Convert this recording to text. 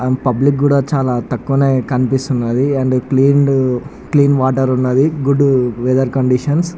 and public కూడా చాలా తక్కువనే కనిపిస్తునది అండ్ క్లీనేడ్ క్లీన్ వాటర్ ఉన్నది గుడ్ వెథర్ కండిషన్స్